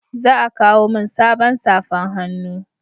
Za a kawo min sabon safan hannu